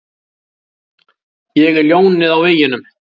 Ég er ljónið á veginum.